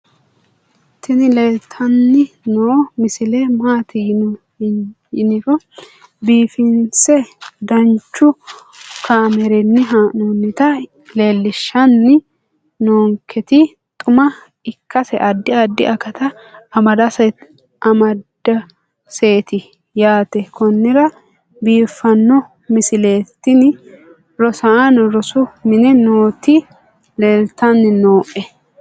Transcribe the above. tini leeltanni noo misile maaati yiniro biifinse danchu kaamerinni haa'noonnita leellishshanni nonketi xuma ikkase addi addi akata amadaseeti yaate konnira biiffanno misileeti tini rosaano rosu mine nooti leeltannoe